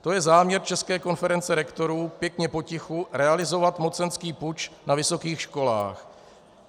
To je záměr České konference rektorů, pěkně potichu realizovat mocenský puč na vysokých školách.